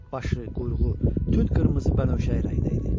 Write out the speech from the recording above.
Başı, quyruğu tünd qırmızı bənövşəyi rəngdə idi.